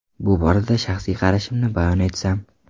Bu borada shaxsiy qarashimni bayon etsam.